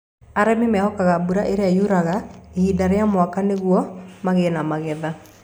Arĩmi mehokaga mbura ĩrĩa yuraga ihinda rĩa mwaka nĩguo magĩe na magetha.